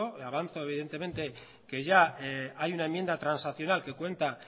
avanzo evidentemente que ya hay una enmienda transaccional que cuenta